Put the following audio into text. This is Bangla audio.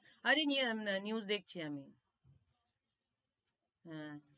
আরে news দেখছি আমি, হম